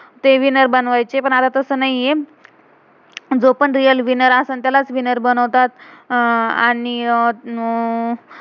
ते winner winner बनवायचे. पण अता तसं नाहीये, जो पण रियल real विनर winner असेल, त्यालाच विनर winner बनवतात. अह आणि अं